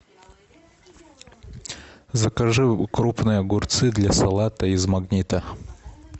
закажи крупные огурцы для салата из магнита